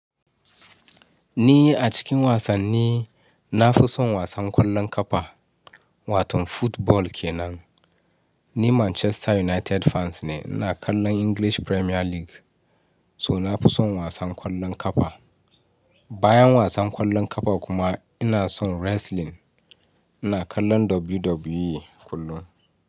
Ni a cikin wasanni na fi son wasan ƙwallon ƙafa, wato football kenan. Ni Manchester United fans ne, ina kallon English Premier League. So na fi son wasan ƙwallon ƙafa. Bayan wasan ƙwallon ƙafa kuma ina son wrestling. Ina kallon WWE kullum.